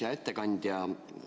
Hea ettekandja!